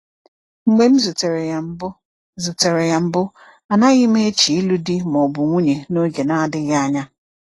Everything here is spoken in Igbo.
Mgbe m zutere ya mbụ, zutere ya mbụ, anaghị m eche ịlụ di ma ọ bụ nwunye n’oge na-adịghị anya.